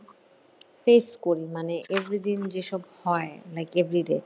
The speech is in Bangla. face করি মানে every দিন যেসব হয় like everyday ।